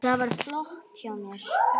Þetta var flott hjá mér.